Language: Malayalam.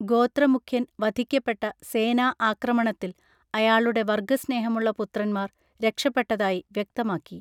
ഗോത്ര മുഖ്യൻ വധിക്കപ്പെട്ട സേനാ ആക്രമണത്തിൽ അയാളുടെ വർഗ്ഗസ്നേഹമുള്ള പുത്രന്മാർ രക്ഷപ്പെട്ടതായി വ്യക്തമാക്കി